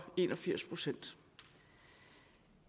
en og firs procent